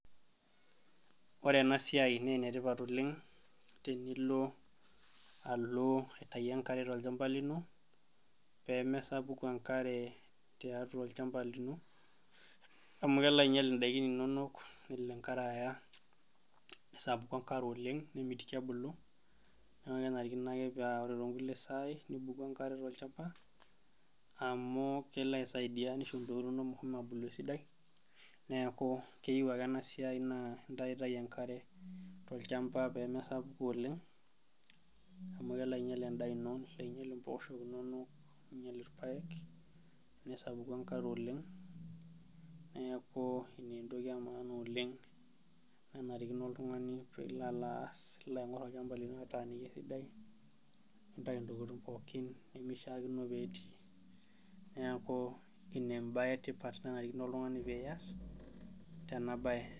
Ore enasiai enetipat oleng', tenilo alo aitayu enkare tolchamba lino, pemesapuku enkare tiatua olchamba lino, amu kelo ainyal idaikin inonok nelo enkare aya, nesapuku enkare oleng nemitiki ebulu, neku kenarikino ake pa ore tonkulie saai, nibuku enkare tolchamba, amu kelo aisaidia nisho intokiting inonok meshomo abulu esidai, neeku keyieu ake enasiai naa intaitayu enkare tolchamba pemesapuku oleng, amu kelo ainyel endaa ino, nelo ainyel impooshok inonok, ninyel irpaek, nesapuku enkare oleng, neeku ena entoki emaana oleng nenarikino oltung'ani pilo alo aas, nilo aing'or olchamba lino ataaniki esidai, nintayu intokiting pookin nimishaakino petii. Neeku inebae etipat nanarikino oltung'ani pias, tena bae.